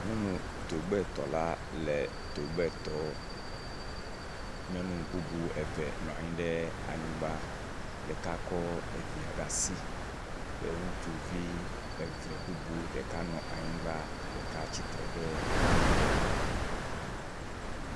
Pɔpi gbegble aɖe wɔla woa me tɔ̃ wole dɔ wɔm tso pɔpi gbegble aɖe ŋutsi. Wo me tɔ̃ kata woɖɔ ga kuku eye woa me tɔ̃ katã woɖo tsitsi eye woɖɔ asiwui.